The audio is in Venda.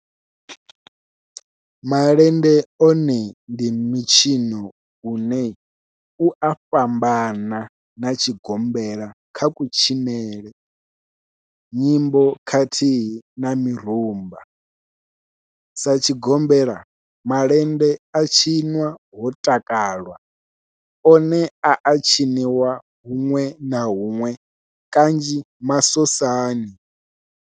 Malende one ndi mitshino une u a fhambana na tshigombela kha kutshinele, nyimbo khathihi na mirumba. Sa tshigombela, malende a tshinwa ho takalwa, one a a tshiniwa hunwe na hunwe kanzhi masosani.